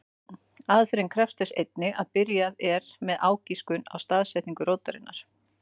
Aðferðin krefst þess einnig að byrjað er með ágiskun á staðsetningu rótarinnar.